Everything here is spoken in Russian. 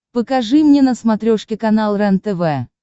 покажи мне на смотрешке канал рентв